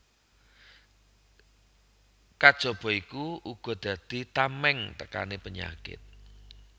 Kajaba iku uga dadi tamèng tekané penyakit